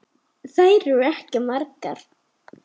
Þær eru ekki margar.